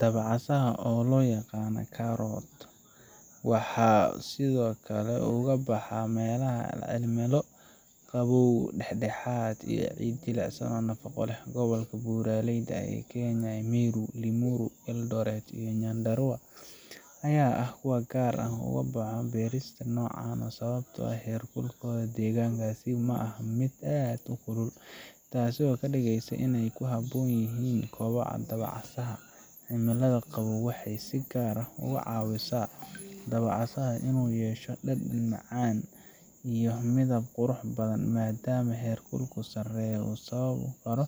Dabcasaha oo loyaqano karot waxa sidiokale uu kabaxa melaha cimilo qabow daxdaxad iyoh cid jilicsan oo nafaqo leh, gobolka buraleyda ee kenya migu Limiru, Eldoret, iyoh Nyandarua aya ah kuwa gar ah uu ogaboxo berista nocan ah sabto ah herkulkoda degankasi maahan mid aad ukulul tasi okadigeyso inay kuhabonyihin kobo daba casaha ah, cimilada qabow waxay si gar ah oga cawisa dabacasaha inu yesho dadan macan ah iyoh midab qurax badhan madam aay herkulku sareyo usababi karo